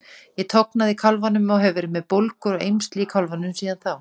Ég tognaði í kálfanum og hef verið með bólgur og eymsli í kálfanum síðan þá.